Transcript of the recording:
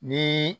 Ni